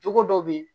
Cogo dɔ bɛ ye